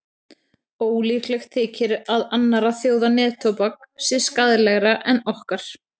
Ólíklegt þykir að annarra þjóða neftóbak sé skaðlegra en okkar.